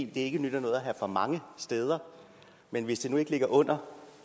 det ikke nytter noget at have for mange steder men hvis det nu ikke ligger under